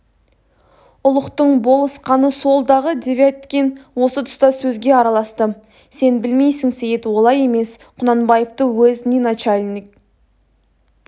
ұлықтың болысқаны сол-дағы девяткин осы тұста сөзге араласты сен білмейсің сейіт олай емес кунанбаевты уездный начальник